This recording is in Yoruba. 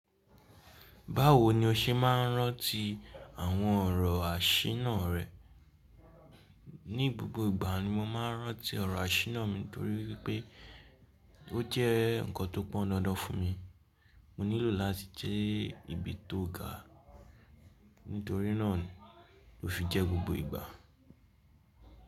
Báwo ni o ṣe máa ń rántí àwọn ọ̀rọ̀ àṣináà rẹ? Ni gbogbo ìgbà ni mo máa ń rántí ọ̀rọ̀ àṣínáà mi nítorí wipé ó jẹ́ nǹkan tó pọn dandan fún mi. Mo nílò ó láti jẹ́ ibi tó ga nítorí náà ló fi jẹ́ gbogbo ìgbà.